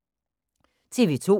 TV 2